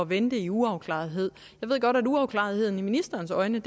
vente i uafklarethed jeg ved godt at uafklaretheden i ministerens øjne